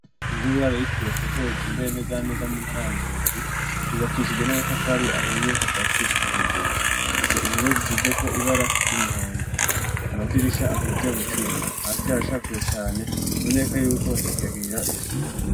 Inzu yubura yitiriye Petero itumbereye nezaneza mu ntara ya Ngozi yubakishije n'amatafari ahiye kuva hasi gushika hejuru ifise impome zisizeko ibara ry'umuhondo amadirisha akoze mu cuma hasi haracafuye cane biboneka yuko batakihagirira isuku.